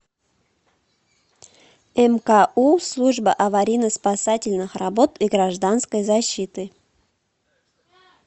мку служба аварийно спасательных работ и гражданской защиты